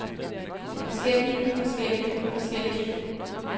forskellige forskellige forskellige